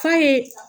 F'a ye